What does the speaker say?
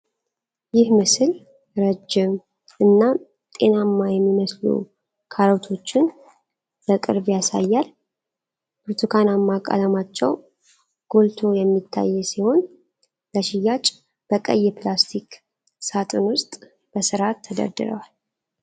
ይህ ምስል ረዥም እና ጤናማ የሚመስሉ ካሮቶችን በቅርብ ያሳያል። ብርቱካናማ ቀለማቸው ጎልቶ የሚታይ ሲሆን፣ ለሽያጭ በቀይ ፕላስቲክ ሳጥን ውስጥ በሥርዓት ተደርድረዋል።